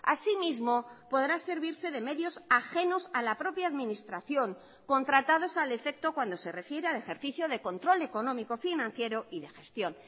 asimismo podrá servirse de medios ajenos a la propia administración contratados al efecto cuando se refiere al ejercicio de control económico financiero y de gestión